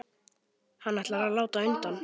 Hann ætlar að láta undan.